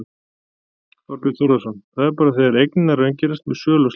Þorbjörn Þórðarson: Það er bara þegar eignirnar raungerast með sölu og slíkt?